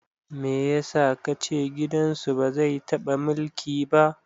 Me yasa kace gidan su ba zai taɓa mulki ba?